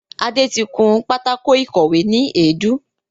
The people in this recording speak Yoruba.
Adé tí kún pátákò ìkọ́we ni èédú